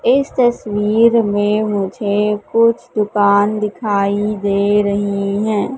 इस तस्वीर में मुझे कुछ दुकान दिखाई दे रही है।